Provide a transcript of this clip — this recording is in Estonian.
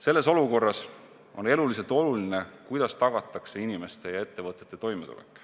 Selles olukorras on eluliselt oluline see, kuidas tagatakse inimeste ja ettevõtete toimetulek.